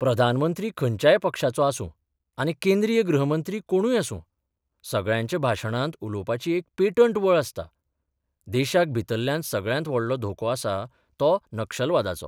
प्रधानमंत्री खंयच्याय पक्षाचो आसुं आनी केंद्रीय गृहमंत्री कोणूय आसुं, सगळ्यांच्या भाशणांत उलोवपाची एक पेटंट वळ आसता देशाक भितल्ल्यान सगळ्यांत व्हडलो धोको आसा तो नक्षलवादाचो.